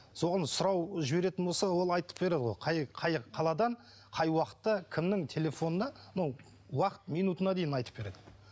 соған сұрау жіберетін болса ол айтып береді ғой қай қаладан қай уақытта кімнің телефонынан ну уақыт минутына дейін айтып береді